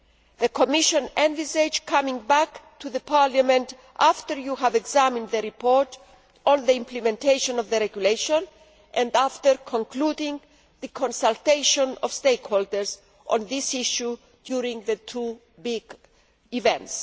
The Commission envisages coming back to the Parliament after you have examined the report on the implementation of the regulation and after concluding the consultation of stakeholders on this issue during the two big events.